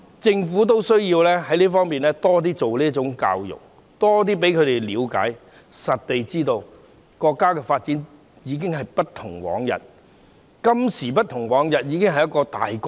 政府需要多做這方面的教育，多讓年青人了解，實地認識國家的發展已經今非昔比，現時已經是一個大國。